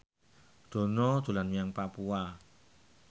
Dono dolan menyang Papua